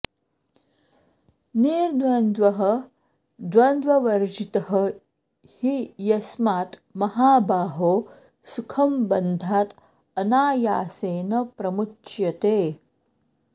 निर्द्वन्द्वः द्वन्द्ववर्जितः हि यस्मात् महाबाहो सुखं बन्धात् अनायासेन प्रमुच्यते